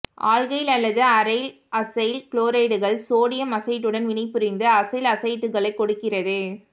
alkyl அல்லது aryl acyl குளோரைடுகள் sodium அசைட்டுடன் வினைபுரிந்து அசைல் அசைட்டுகளைக் கொடுக்கிறது